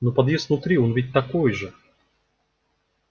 но подъезд внутри он ведь такой же